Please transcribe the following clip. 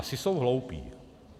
Asi jsou hloupí.